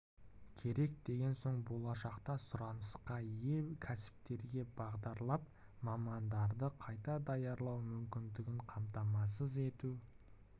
керек деген соң болашақта сұранысқа ие болатын кәсіптерге бағдарлап мамандарды қайта даярлау мүмкіндігін қамтамасыз ету